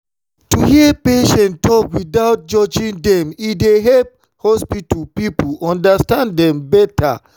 to hear patients talk without judging dem e dey help hospital people understand dem better.